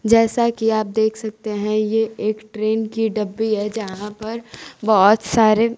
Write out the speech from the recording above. जैसा की आप देख सकते हैं ये एक ट्रेन की डब्बी है जहां पर बहोत सारे--